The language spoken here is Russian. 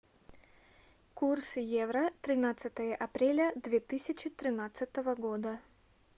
курс евро тринадцатое апреля две тысячи тринадцатого года